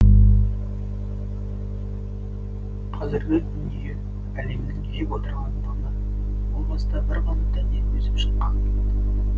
қазіргі дүние әлемнің жеп отырған наны о баста бір ғана дәннен өсіп шыққан